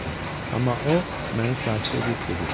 Amma o, məni sakit edib dedi: